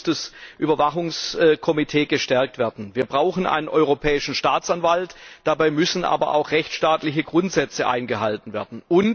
Deshalb muss das Überwachungskomitee gestärkt werden. Wir brauchen einen Europäischen Staatsanwalt. Dabei müssen aber auch rechtsstaatliche Grundsätze eingehalten werden.